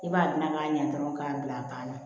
I b'a naga ɲɛ dɔrɔn k'a bila a banna